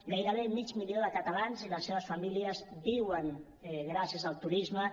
gairebé mig milió de catalans i les seves famílies viuen gràcies al turisme